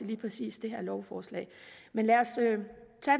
lige præcis det her lovforslag men lad os have